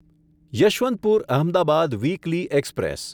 Yesvantpur Ahmedabad weekly express